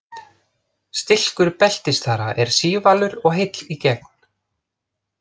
Stilkur beltisþara er sívalur og heill í gegn.